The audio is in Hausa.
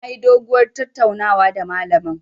Nayi doguwar tattaunawa da malamin.